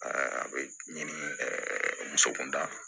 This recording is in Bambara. a bɛ ɲini muso kunda